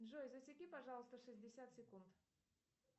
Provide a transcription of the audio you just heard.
джой засеки пожалуйста шестьдесят секунд